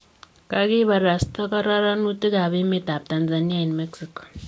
Kogibarasta kororonutik ab emet ab Tanzania en Mexico.